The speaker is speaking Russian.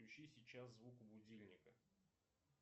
включи сейчас звук у будильника